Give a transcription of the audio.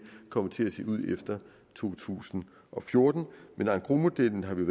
kommer til at se ud efter to tusind og fjorten men engrosmodellen har vi